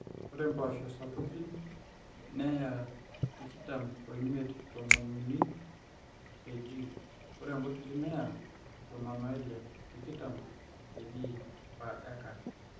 ore mpooso sapukin neya tikitam omiet-tomon uni kg ore nkutitik neya tomon oile-tikitam kg/acre.